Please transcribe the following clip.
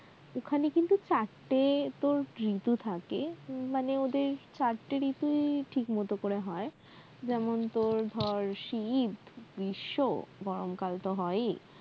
ওখানে কিন্তু চারটে তোর ঋতু থাকে মানে ওদের চারটে ঋতুই ঠিক মতো করে হয় যেমন তোর ধর শিত, গ্রীষ্ম গরমকাল তো হয়ই